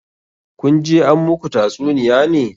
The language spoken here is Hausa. Kun je an muku tatsuniya ne?